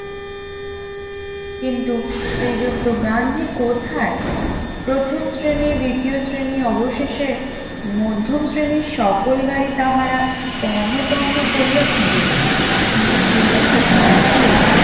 কিন্তু শ্রীযুক্ত গান্ধী কোথায়? প্রথম শ্রেণী দ্বিতীয় শ্রেণী অবশেষে মধ্যম শ্রেণীর সকল গাড়ি তাহারা তন্য তন্য করিয়া খুঁজিলেন কিন্তু শ্রীযুক্ত গান্ধীকে